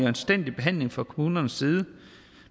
anstændig behandling fra kommunernes side